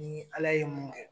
Ni ala ye mun kɛ.